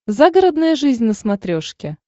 загородная жизнь на смотрешке